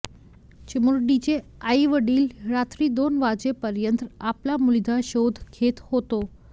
चिमुरडीचे आईवडील रात्री दोन वाजेपर्यंत आपल्या मुलीचा शोध घेत होते